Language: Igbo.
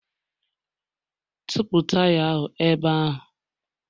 Tụpụ taya ahụ ebe ahụ!